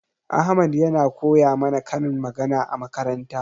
Ahmad yana koya mana karin magana a makaranta.